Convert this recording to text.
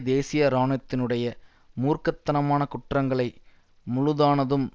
தேசிய இராணுவத்தினுடைய மூர்க்க தனமான குற்றங்களை முழுதானதும்